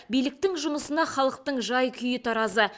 биліктің жұмысына халықтың жай күйі таразы